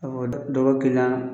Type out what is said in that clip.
Ka fɔ dɔ dɔ bɛ kiliyan